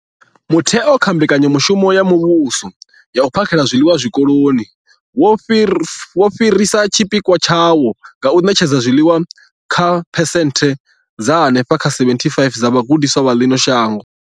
Mutheo, nga kha Mbekanya mushumo ya Muvhuso ya U phakhela zwiḽiwa Zwikoloni, wo fhirisa tshipikwa tshawo tsha u ṋetshedza zwiḽiwa kha phesenthe dza henefha kha 75 dza vhagudiswa vha ḽino shango.